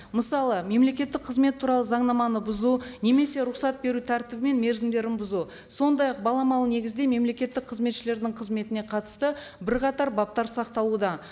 мысалы мемлекеттік қызмет туралы заңнаманы бұзу немесе рұқсат беру тәртібі мен мерзімдерін бұзу сондай ақ баламалы негізде мемлекеттік қызметшілердің қызметіне қатысты бірқатар баптар сақталуда